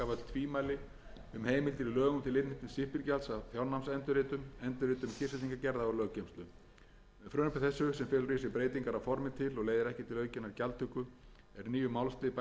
í lögum til innheimtu stimpilgjalds af fjárnámsendurritum endurritum kyrrsetningargerða og löggeymslu með frumvarpi þessu sem felur í sér breytingar að formi til og leiðir ekki til aukinnar gjaldtöku er nýjum málslið bætt við fyrstu málsgrein